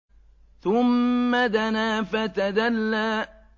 ثُمَّ دَنَا فَتَدَلَّىٰ